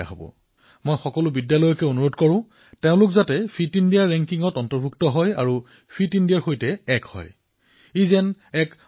মই অনুৰোধ কৰিছো যে সকলো বিদ্যালয়েই ফিট ইণ্ডিয়া মূল্যাংকনত অন্তৰ্ভুক্ত হওক আৰু ফিট ইণ্ডিয়াক সহজাত স্বভাৱলৈ পৰিৱৰ্তিত কৰক